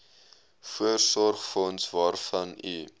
voorsorgsfonds waarvan u